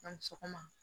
A ni sɔgɔma